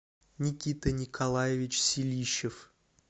никита николаевич силищев